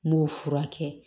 N b'o furakɛ